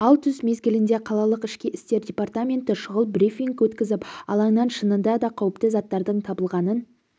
ал түс мезгілінде қалалық ішкі істер департаменті шұғыл брифинг өткізіп алаңнан шынында да қауіпті заттардың табылғанын